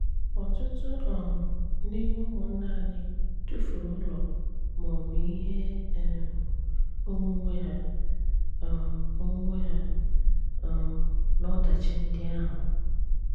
Ọ̀tụtụ̀ um n’ime ụmụ́nnà anyị tụfùrù ụlọ̀ ma ọ̀bụ̀ ihé um onwunwe ihé um onwunwe hà um n’ọdachi ndị áhụ.